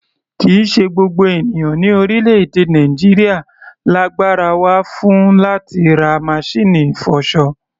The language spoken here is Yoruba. Kì í ṣe gbogbo ènìyàn ní orílẹ̀-èdè Nàìjíríà lagbára wà fún láti ra masíìnì ìfọṣọ.